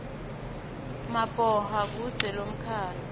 maboha kudze lomkhalu